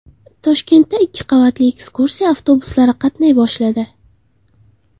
Toshkentda ikki qavatli ekskursiya avtobuslari qatnay boshladi .